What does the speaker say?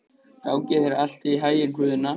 Gangi þér allt í haginn, Guðna.